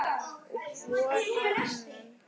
Og hvor á annan.